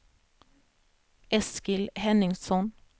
Eskil Henningsson